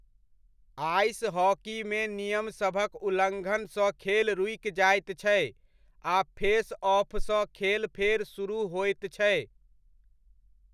Ice हॉकीमे नियमसभक उल्लङ्घनसँ खेल रूकि जाइत छै आ फेसऑफसँ खेल फेर सुरुह होइत छै।